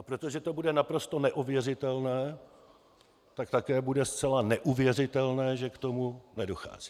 A protože to bude naprosto neověřitelné, tak také bude zcela neuvěřitelné, že k tomu nedochází.